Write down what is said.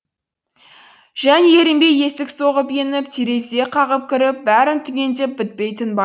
және ерінбей есік соғып еніп терезе қағып кіріп бәрін түгендеп бітпей тынба